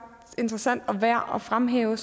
interessant og værd at fremhæve